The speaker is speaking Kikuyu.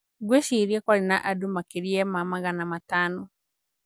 Ngwĩciria kwarĩ na andũ makĩria ma magana matano."